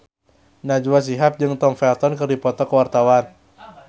Najwa Shihab jeung Tom Felton keur dipoto ku wartawan